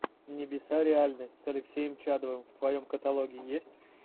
небеса реальны с алексеем чадовым в твоем каталоге есть